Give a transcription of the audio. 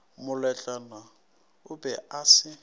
moletlwana o be a se